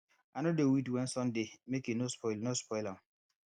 i no dey weed when sun dey make e no spoil no spoil am